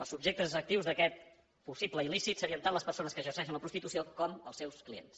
els subjectes actius d’aquest possible il·lícit serien tant les persones que exerceixen la prostitució com els seus clients